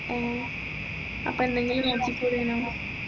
ഏ അപ്പോ എന്തെങ്കിലും നോക്കികൂടെനോ